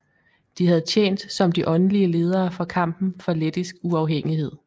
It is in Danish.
De havde tjent som de åndelige ledere for kampen for lettisk uafhængighed